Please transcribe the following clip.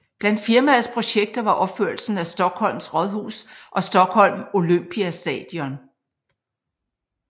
Blandt firmaets projekter var opførelsen af Stockholms rådhus og Stockholm Olympiastadion